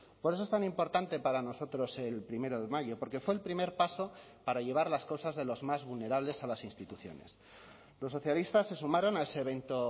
por eso es tan importante para nosotros el primero de mayo porque fue el primer paso para llevar las cosas de los más vulnerables a las instituciones los socialistas se sumaron a ese evento